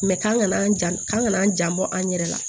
k'an kana an jan k'an n'an jan bɔ an yɛrɛ la